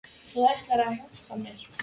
! Þú ætlaðir að hjálpa mér.